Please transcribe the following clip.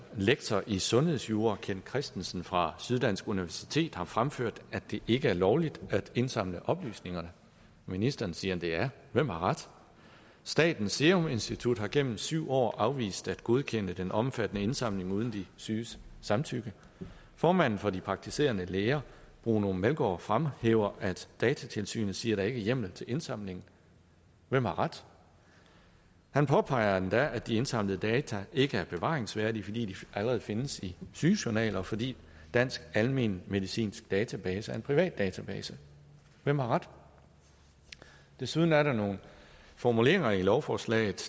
lektor i sundhedsjura kent kristensen fra syddansk universitet har fremført at det ikke er lovligt at indsamle oplysningerne ministeren siger at det er det hvem har ret statens seruminstitut har gennem syv år afvist at godkende den omfattende indsamling uden de syges samtykke formanden for de praktiserende læger bruno meldgaard fremhæver at datatilsynet siger der er hjemmel til indsamlingen hvem har ret han påpeger endda at de indsamlede data ikke er bevaringsværdige fordi de allerede findes i sygejournaler og fordi dansk almenmedicinsk database er en privat database hvem har ret desuden er der nogle formuleringer i lovforslaget